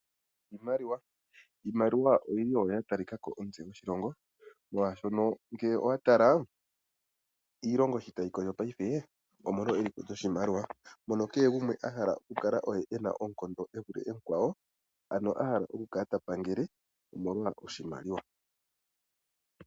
Iimaliwa, iimaliwa oyili oyo yatalikako omutse goshilongo. Molwaashono ngele owa tala iilongo sho tayi kondjo paife, omolwa eliko lyoshimaliwa, mono kehe gumwe ahala okukala oye ena oonkondo evule mukwawo, ano ahala oku kala ta pangele, omolwa oshimaliwa.